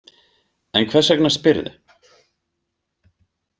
En hvers vegna spyrðu?